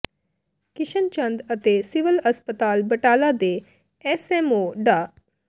ਕਿਸ਼ਨ ਚੰਦ ਅਤੇ ਸਿਵਲ ਹਸਪਤਾਲ ਬਟਾਲਾ ਦੇ ਐੱਸਐੱਮਓ ਡਾ